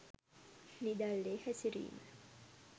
නිදැල්ලේ හැසිරීම